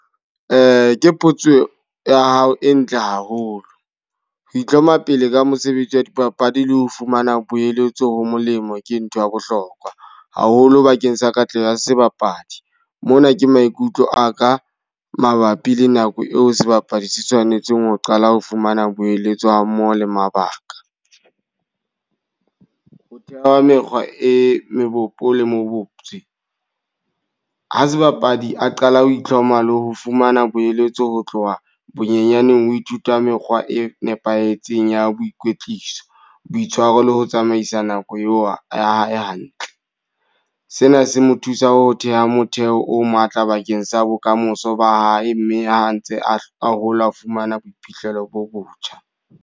Ke potso ya hao e ntle haholo. Ho itlhompha pele ka mosebetsi wa dipapadi le ho fumana poeletso ho molemo ke ntho ya bohlokwa. Haholo bakeng sa katleho ya sebapadi. Mona ke maikutlo a ka mabapi le nako eo sebapadi se tshwanetseng ho qala ho fumana boeletsi ha mmoho le mabaka. Ho theha mekgwa e mebe, kopo le moputso. Hq sebapadi a qala ho itlhompha le ho fumana boeletso ho tloha bonyaneng ho ithuta mekgwa e nepahetseng ya boikwetliso, boitshwaro le ho tsamaisa nako eo ho hae hantle. Sena se mo thusa ho theha motheo o matla bakeng sa bokamoso ba hae. Mme ha ntse a hola a fumana boiphihlelo bo botjha.